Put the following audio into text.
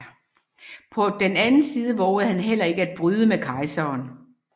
På den anden side vovede han heller ikke at bryde med kejseren